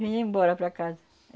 Vinha embora para casa.